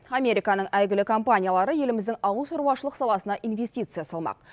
американың әйгілі компаниялары еліміздің ауылшаруашылық саласына инвестиция салмақ